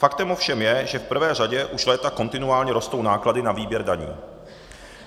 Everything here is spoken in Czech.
Faktem ovšem je, že v prvé řadě už léta kontinuálně rostou náklady na výběr daní.